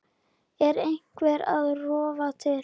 Er eitthvað að rofa til?